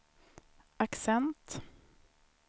accent